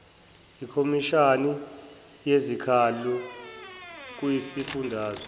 ikhomishana yezikhalo kwisifundazwe